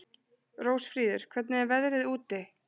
Rósfríður, hvernig er veðrið úti?